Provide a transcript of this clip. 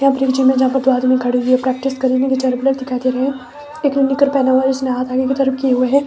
यह है जहां पर दो आदमी खड़े हुए प्रैक्टिस कर री दिखाई दे रहे हैं। एक ने पेहना हुआ है जिसने हाथ आगे की तरफ किए हुए है।